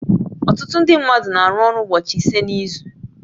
Ọtụtụ ndị mmadụ na-arụ ọrụ ụbọchị ise n'izu